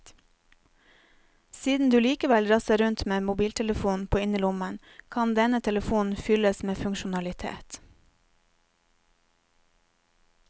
Siden du likevel drasser rundt med en mobiltelefon på innerlommen, kan denne telefonen fylles med funksjonalitet.